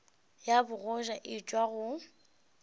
ya bogoja e tšwa go